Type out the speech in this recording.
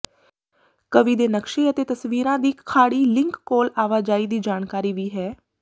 ਕਵੀ ਦੇ ਨਕਸ਼ੇ ਅਤੇ ਤਸਵੀਰਾਂ ਦੀ ਖਾੜੀ ਲਿੰਕ ਕੋਲ ਆਵਾਜਾਈ ਦੀ ਜਾਣਕਾਰੀ ਵੀ ਹੈ